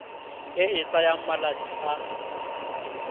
e e tsayang malatsi a